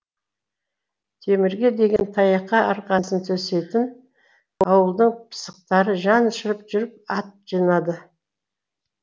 темірге деген таяққа арқасын төсейтін ауылдың пысықтары жан ұшырып жүріп ат жинады